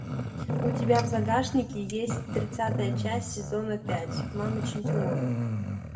у тебя в загашнике есть тридцатая часть сезона пять мамы чемпионов